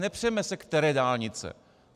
Nepřeme se, které dálnice.